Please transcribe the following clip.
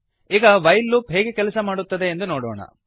ಈಗ while loop ಹೇಗೆ ಕೆಲಸ ಮಾಡುತ್ತದೆ ಎಂದು ನೋಡೋಣ